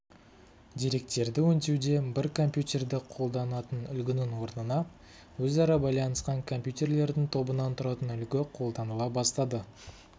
деректерді өңдеуде бір компьютерді қолданатын үлгінің орнына өзара байланысқан компьютерлердің тобынан тұратын үлгі қолданыла бастады